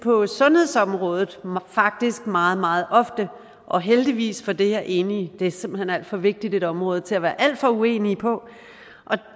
på sundhedsområdet faktisk meget meget ofte og heldigvis for det er enige det er simpelt hen for vigtigt område til at være alt for uenige på og